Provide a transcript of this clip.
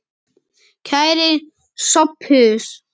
Kæri Sophus.